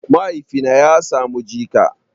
Mahaifina ya samu jika